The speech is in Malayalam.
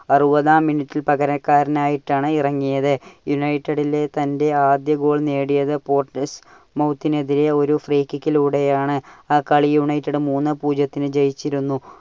അറുപതാം മിനിറ്റിൽ പകരക്കാരനായിട്ടാണ് ഇറങ്ങിയത്. united ലെ തന്റെ ആദ്യ goal നേടിയത് എതിരെ ഒരു free kick ലൂടെ ആണ്. ആ കളി united മൂന്നേ പൂജ്യത്തിനു ജയിച്ചിരുന്നു.